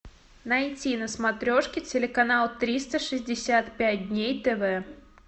найти на смотрешке телеканал триста шестьдесят пять дней тв